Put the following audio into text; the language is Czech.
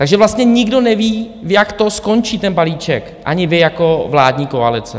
Takže vlastně nikdo neví, jak to skončí ten balíček, ani vy jako vládní koalice.